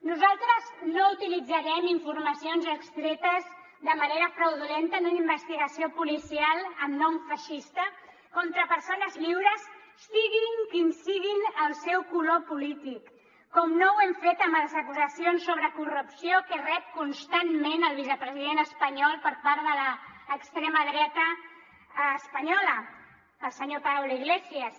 nosaltres no utilitzarem informacions extretes de manera fraudulenta en una investigació policial amb nom feixista contra persones lliures sigui quin sigui el seu color polític com no ho hem fet amb les acusacions sobre corrupció que rep constantment el vicepresident espanyol per part de l’extrema dreta espanyola el senyor pablo iglesias